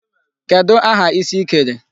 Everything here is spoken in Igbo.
Kedụ aha isi ị kere?